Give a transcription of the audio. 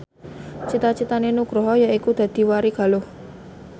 cita citane Nugroho yaiku dadi warigaluh